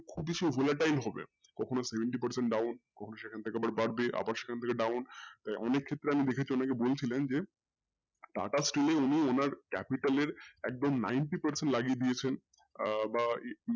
টাই খোলা হবে কখনো seventy percent down আবার সেখান থেকে বাড়বে আবার সেখান থেকে down তাই অনেক ক্ষেত্রে আমি দেখে চলেছি ওনাকে বলছিলেন যে TATA steel এ উনি ওনার capital এ একদম ninety percent লাগিয়ে দিয়েছে আহ বা এই,